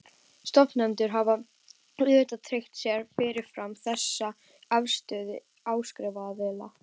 Stofnendur hafa auðvitað tryggt sér fyrirfram þessa afstöðu áskriftaraðila.